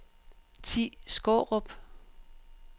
Thi Skaarup